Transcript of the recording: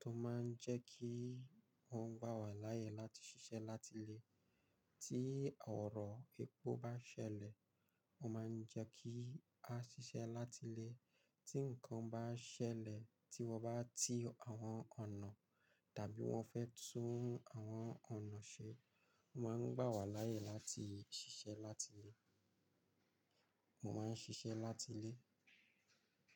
tó máa ń jẹ́ kí wọ́n gbà wá láàyè láti ṣiṣẹ́ láti ilé. Tí ọ̀rọ̀ epo bá ṣẹlẹ̀, wọ́n máa ń jẹ́ kí a ṣiṣẹ́ láti ilé. Tí ǹkan bá ṣẹlẹ̀ tí wọ́n bá ti àwọn ọ̀nà tàbí wọ́n fẹ́ tún àwọn ọ̀nà ṣe, wọ́n máa ń gbà wá láàyè láti ṣiṣẹ́ láti ilé. Mo máa ń ṣiṣẹ́ láti ilé.